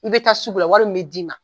I bɛ taa sugu la wari min bɛ d'i ma